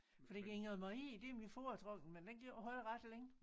Fordi Ingrid Marie det er min foretrukne men den kan ikke holde ret længe